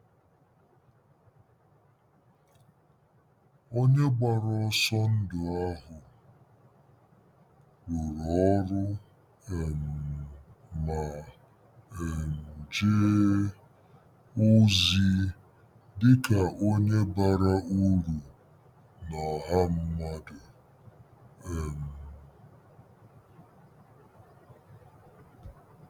Onye gbara ọsọ ndụ ahụ rụrụ ọrụ um ma um jee ozi dị ka onye bara uru na ọha mmadụ. um